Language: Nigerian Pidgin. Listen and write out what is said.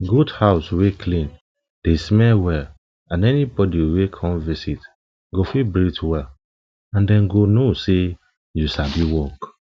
goat house wey clean dey smell well and anybody wey come visit go fit breath well and dem go know say you sabi work